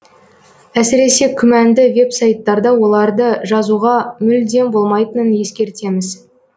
әсіресе күмәнді веб сайттарда оларды жазуға мүлдем болмайтынын ескертеміз